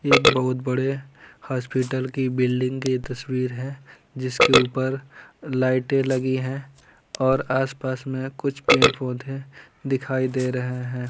एक बहुत बड़े हॉस्पिटल की बिल्डिंग की ये तस्वीर है जिसके ऊपर लाइटें लगी हैं और आस-पास में कुछ पेड़ पौधे दिखाई दे रहे हैं।